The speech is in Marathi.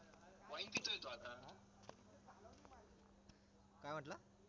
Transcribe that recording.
काय म्हंटला